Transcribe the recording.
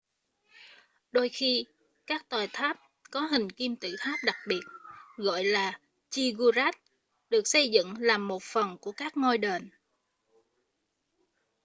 đôi khi các tòa tháp có hình kim tự tháp đặc biệt gọi là ziggurat được xây dựng làm một phần của các ngôi đền